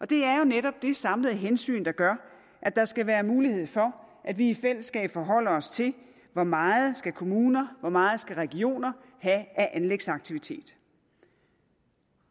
det er jo netop det samlede hensyn der gør at der skal være mulighed for at vi i fællesskab forholder os til hvor meget skal kommuner hvor meget skal regioner have af anlægsaktiviteter